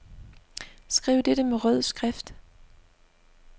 Skriv dette med rød skrift.